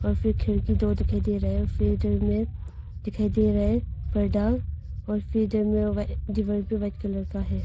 और फिर खिड़की दो दिखाई दे रहा है और फिर इधर में दिखाई दे रहा है पर्दा और फिर इधर में दीवार भी वाइट कलर का है।